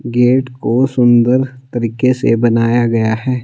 Gate को सुंदर तरीके से बनाया गया है।